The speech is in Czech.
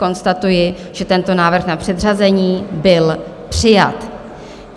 Konstatuji, že tento návrh na předřazení byl přijat.